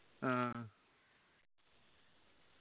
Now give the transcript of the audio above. ആ